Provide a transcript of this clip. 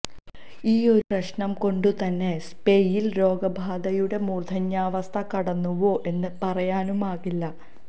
ഈയൊരു പ്രശ്നം കൊണ്ട് തന്നെ സ്പെയിൻ രോഗബാധയുടെ മൂർദ്ധന്യാവസ്ഥ കടന്നുവോ എന്ന് പറയാനുമാകില്ല